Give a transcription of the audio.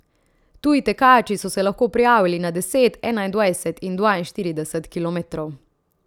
Tuji tekači so se lahko prijavili na deset, enaindvajset in dvainštirideset kilometrov.